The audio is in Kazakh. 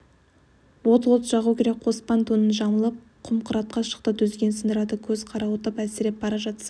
от от жағу керек қоспан тонын жамылып құм-қыратқа шықты дүзген сындырады көзі қарауытып әлсіреп бара жатса